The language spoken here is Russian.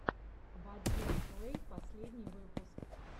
вадим плэй последний выпуск